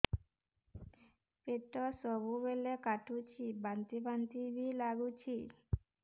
ପେଟ ସବୁବେଳେ କାଟୁଚି ବାନ୍ତି ବାନ୍ତି ବି ଲାଗୁଛି